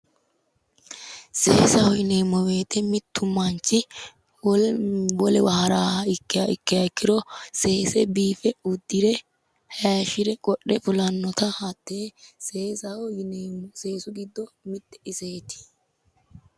seesaho yineemmo wote mittu manchi wolewa haraaha ikkiha ikkiro seese biife uddire hayiishshire qodhe fulannota hattee seesaho yineemmo seesu giddo mitte iseeti.